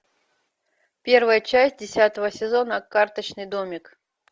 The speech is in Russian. первая часть десятого сезона карточный домик